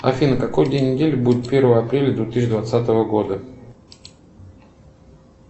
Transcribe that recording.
афина какой день недели будет первое апреля две тысячи двадцатого года